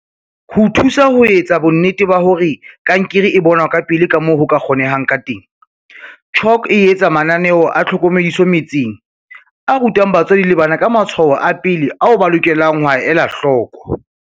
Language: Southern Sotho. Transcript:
Ho thusa ho etsa bonnete ba hore kankere e bonwa ka pele kamoo ho ka kgonehang ka teng, CHOC e etsa mananeo a tlhokomediso metseng, a rutang batswadi le bana ka matshwao a pele ao ba lokelang ho a ela hloko.